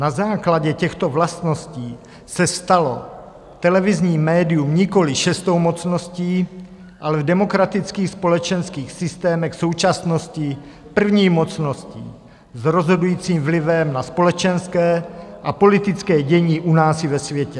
Na základě těchto vlastností se stalo televizní médium nikoliv šestou mocností, ale v demokratických společenských systémech současnosti první mocností s rozhodujícím vlivem na společenské a politické dění u nás i ve světě.